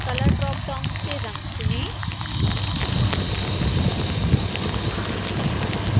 colour dropdown से रंग चुनें